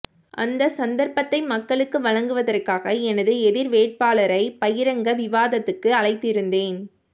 அந்த சந்தர்ப்பத்தை மக்களுக்கு வழங்குவதற்காக எனது எதிர்வேட்பாளரை பகிரங்க விவாதத்துக்கு அழைத்திருந்தேன்